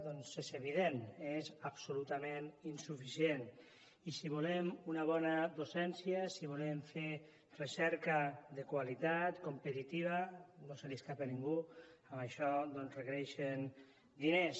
doncs és evident que és absolutament insuficient i si volem una bona docència si volem fer recerca de qualitat competitiva no se li escapa a ningú que això requereix diners